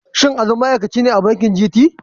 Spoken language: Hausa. Shin Ali ma'aikaci ne a bankin GT?